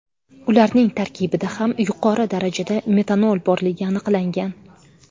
Ularning tarkibida ham yuqori darajada metanol boriligi aniqlangan.